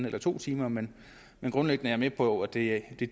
eller to timer men grundlæggende er jeg med på at det at det